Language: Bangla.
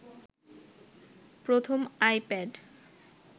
প্রথম আইপ্যাড